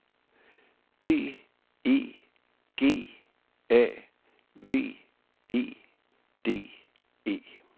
B E G A V E D E